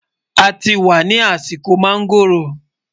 àti wà nì àsìkò mangoọ̀ró